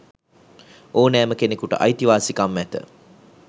ඕනෑම කෙනකුට අයිතිවාසිකම් ඇත.